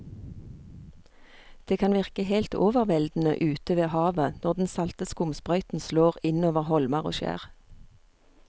Det kan virke helt overveldende ute ved havet når den salte skumsprøyten slår innover holmer og skjær.